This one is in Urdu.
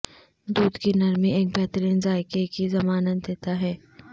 دودھ کی نرمی ایک بہترین ذائقہ کی ضمانت دیتا ہے